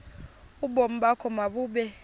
ubomi bakho mabube